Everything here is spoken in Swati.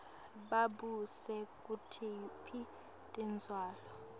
babuse kutiphi tindzawo